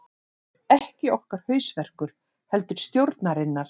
Ekki okkar hausverkur heldur stjórnarinnar